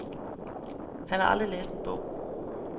Han har aldrig læst en bog.